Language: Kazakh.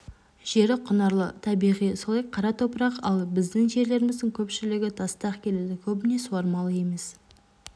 жері құнарлы табиғи солай қара топырақ ал біздің жерлеріміздің көпшілігі тастақ келеді көбіне сауармалы емес